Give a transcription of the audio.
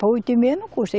Para oito e meia não custa.